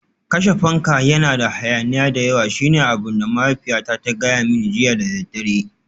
Kashe fanka, yana da hayaniya da yawa shine abin da mahaifiyata ta gaya mani jiya da daddare